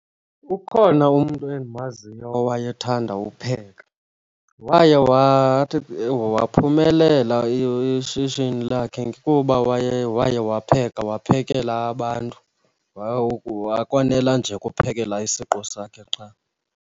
Ukhona umntu endimaziyo owayethanda upheka. Waye waphumelela ishishini lakhe kuba waye waye wapheka, waphekela abantu akonela nje kuphekela isiqu sakhe qha.